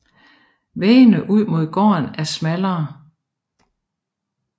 Væggene ud mod gården er smallere